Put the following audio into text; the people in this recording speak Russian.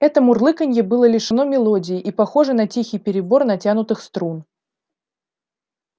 это мурлыканье было лишено мелодии и похоже на тихий перебор натянутых струн